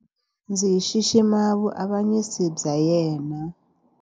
Ndzi xixima vuavanyisi bya yena.